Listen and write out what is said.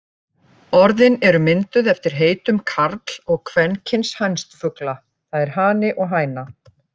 Orðin eru mynduð eftir heitum karl- og kvenkyns hænsfugla, það er hani og hæna.